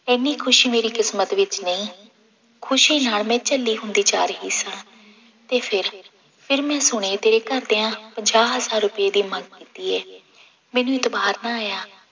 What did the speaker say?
ਇੰਨੀ ਖ਼ੁਸ਼ੀ ਮੇਰੀ ਕਿਸਮਤ ਵਿੱਚ ਨਹੀਂ, ਖ਼ੁਸ਼ੀ ਨਾਲ ਮੈਂ ਝੱਲੀ ਹੁੰਦੀ ਜਾ ਰਹੀ ਸਾਂ ਤੇ ਫਿਰ ਫਿਰ ਮੈਂ ਸੁਣਿਆ ਤੇਰੇ ਘਰਦਿਆਂ ਪੰਜਾਹ ਹਜ਼ਾਰ ਰੁਪਏ ਦੀ ਮੰਗ ਕੀਤੀ ਹੈ ਮੈਨੂੰ ਇਤਬਾਰ ਨਾ ਆਇਆ।